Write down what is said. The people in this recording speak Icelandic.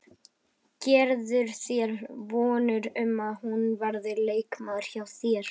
Gerirðu þér vonir um að hún verði leikmaður hjá þér?